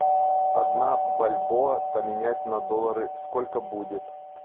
одна бальбоа поменять на доллары сколько будет